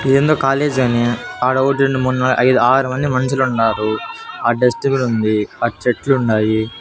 ఇది ఏందో కాలేజ్ అని ఆడ ఓ రెండు మూడు నాలుగు ఐదు ఆరు మంది మునుషులు ఉన్నారు ఆ డస్ట్బిన్ ఉంది ఆ చెట్లు ఉన్నాయి.